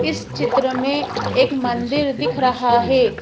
इस चित्र मे एक मंदिर दिख रहा है।